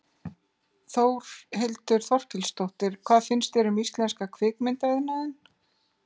Þórhildur Þorkelsdóttir: Hvað finnst þér um íslenska kvikmyndaiðnaðinn?